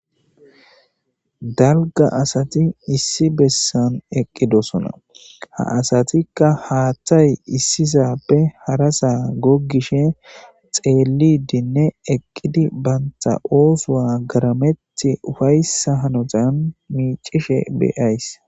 dalga asati issi bessan eqqidosona ha asatikka haaththay issisappe harasaa goggishe xeelidinne eqqidi bantha oosowa garamet ufayssa hanotan miicishe beyays